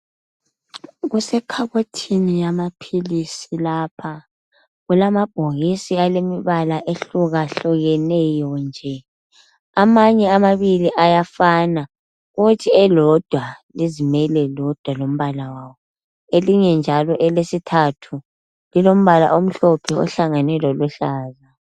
Kusekhabothini yamaphilisi lapha kulamabhokisi alemibala ehlukahlukeneyo nje amanye amabili ayafana kuthi elodwa lizimele lodwa lombala walo, elinye njalo elesithathu lilombala omhlophe ohlangene loluhlaza.